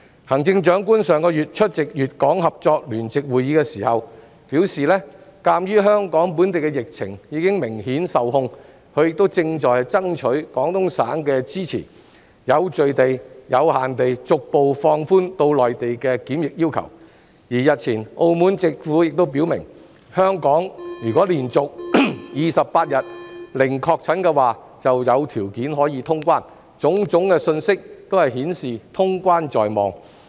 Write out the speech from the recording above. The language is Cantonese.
行政長官上月出席粵港合作聯席會議時表示，鑒於香港本地疫情已明顯受控，她正爭取廣東省的支持，有序及有限地逐步放寬往內地的檢疫要求，而澳門政府日前亦表明，香港如果連續28天零確診，便可有條件通關，種種信息均顯示通關在望。